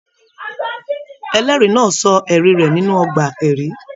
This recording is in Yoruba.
Ẹlẹri náà sọ ẹrí rẹ nínú ọgbà ẹrí.